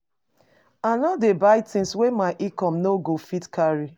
I no dey buy tins wey my income no go fit carry.